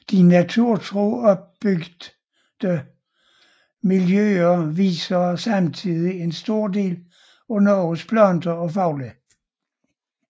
De naturtro opbyggede miljøer viser samtidig en stor del af Norges planter og fugle